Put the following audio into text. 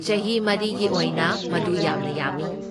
ꯆꯍꯤ ꯃꯔꯤꯒꯤ ꯑꯣꯏꯅ, ꯃꯗꯨ ꯌꯥꯝꯅ ꯌꯥꯝꯃꯤ꯫